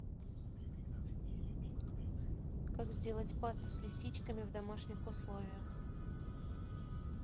как сделать пасту с лисичками в домашних условиях